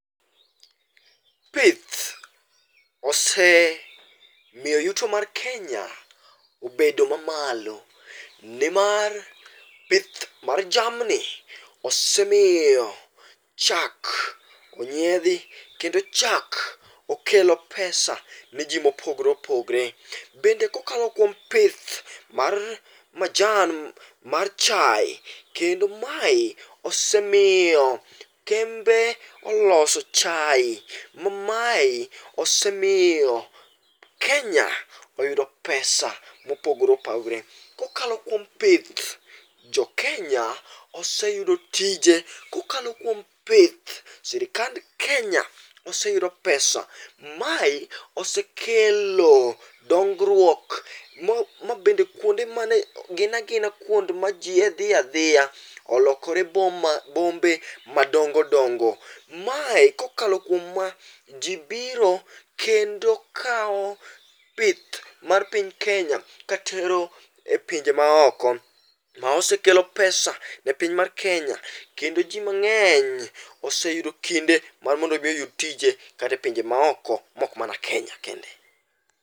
Pith osemiyo yuto mar Kenya obedo mamalo, nimar pith mar jamni osemiyo chak onyiedhi kendo chak okelo pesa ne ji mopogore opogore. Bende kokalo kuom pith mar majan mar chaye, kendo mae osemiyo kembe oloso chaye ma maye osemiyo Kenya oyudo pesa mopogore opogore. Kokalo kuom pith, Jokenya oseyudo tije .Kokalo kuom pith, sirikand Kenya oseyudo pesa. Mae osekelo dongruok mabende kuonde mane gin agina kwond mane ji a dhi adhiya olokore boma, bombe madongo dongo. Mae, kokalo kuom ma ji biro kendo kawo pith mar piny Kenya katero e pinje maoko. Ma osekelo pesa ne piny mar Kenya kendo ji mang'eny oseyudo kinde mar mondo omi oyud tije kata e pinje ma oko mok mana Kenya kende.